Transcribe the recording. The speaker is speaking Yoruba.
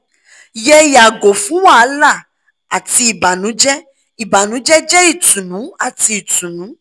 yẹ yago fun wahala ati ibanujẹ ibanujẹ jẹ itunu ati itunu